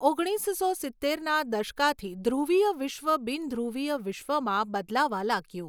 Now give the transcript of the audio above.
ઓગણીસસો સિત્તેરના દશકાથી ધ્રુવીય વિશ્વ બિનધ્રુવીય વિશ્વમાં બદલાવા લાગ્યું.